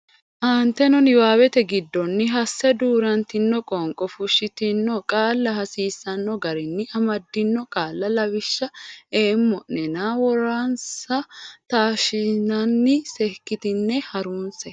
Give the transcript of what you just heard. Aanteteno niwaawete giddonni hasse duu rantino qoonqo fushshitino qaalla hasiisanno garinni amaddino qaalla lawishsha eemma o nena woransa la anni taashshinsa seekkitine ha runse.